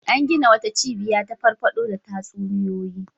An gina wata cibiya ta farfaɗo da tatsuniyoyi.